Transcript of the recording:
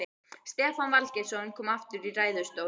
Stefán Valgeirsson kom aftur í ræðustól.